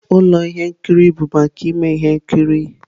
Ụlọ ihe nkiri bụ maka ime ihe nkiri.